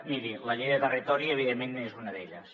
miri la llei de territori evidentment és una d’elles